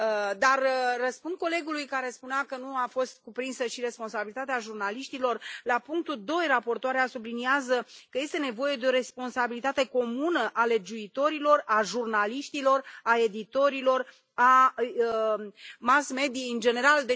Dar, răspund colegului care spunea că nu a fost cuprinsă și responsabilitatea jurnaliștilor, la punctul 2 raportoarea subliniază că este nevoie de o responsabilitate comună a legiuitorilor, a jurnaliștilor, a editorilor, a mass mediei în general.